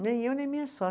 Nem eu, nem minha